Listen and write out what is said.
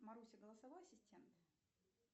маруся голосовой ассистент